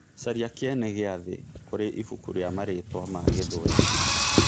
Caria kĩene gĩa thĩ kũri ĩbũku rĩa maritwa ma gĩthuerĩ